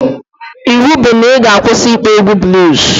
Iwu bụ na ị ga-akwụsị ịkpọ egwu bluus